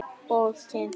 Og kyngt.